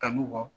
Kanu kɔ